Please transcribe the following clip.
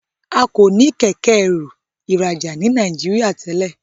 A ko ní Kẹ̀kẹ́-ẹrù ìrajà ní Nàìjíríà tèlé.